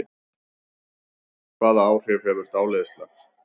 Hvaða áhrif hefur dáleiðsla?